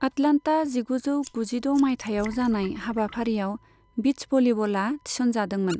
Atlanta जिगुजौ गुजिद' मायथाइयाव जानाय हाबाफारियाव बीच भलीबला थिसनजादोंमोन।